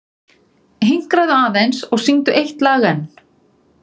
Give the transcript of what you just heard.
Hinkraðu aðeins og syngdu eitt lag enn.